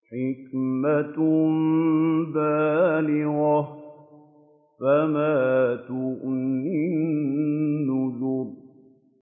حِكْمَةٌ بَالِغَةٌ ۖ فَمَا تُغْنِ النُّذُرُ